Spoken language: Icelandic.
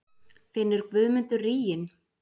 Finnur Guðmundur ríginn?